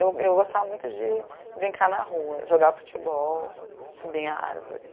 Eu eu, gostava muito de brincar na rua, jogar futebol, subir em árvore.